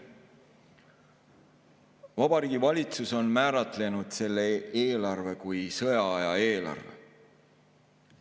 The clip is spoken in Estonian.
Vabariigi Valitsus on määratlenud selle eelarve kui sõjaaja eelarve.